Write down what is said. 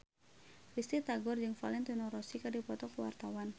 Risty Tagor jeung Valentino Rossi keur dipoto ku wartawan